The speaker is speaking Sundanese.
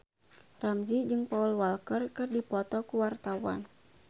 Ramzy jeung Paul Walker keur dipoto ku wartawan